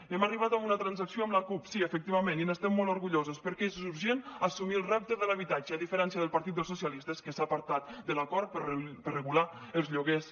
hem arribat a una transacció amb la cup sí efectivament i n’estem molt orgullosos perquè és urgent assumir el repte de l’habitatge a diferència del partit dels socialistes que s’ha apartat de l’acord per regular els lloguers